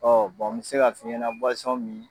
Ɔ bɛ se ka fiɲɛnɛ min.